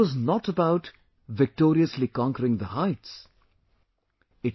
But it was not about victoriously conquering the heights...